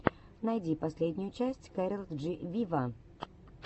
найди последнюю часть кэрол джи виво